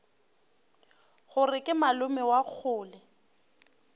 gore ke malome wa kgole